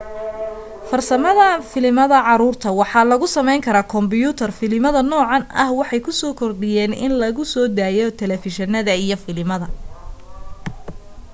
farsamada filimada caruurta waxaaa lagu sameen kombuyutar filimada nocan ah waxay ku soo kordhayan in lagu so dayo talefushinada iyo filimada